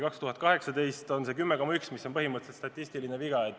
2018. aastal oli see näitaja 10,1 liitrit, mis jääb põhimõtteliselt statistilise vea piiresse.